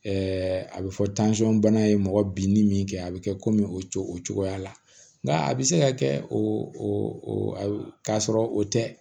a bɛ fɔ bana ye mɔgɔ bin ni min kɛ a bɛ kɛ komi o cogo o cogoya la nka a bɛ se ka kɛ o k'a sɔrɔ o tɛ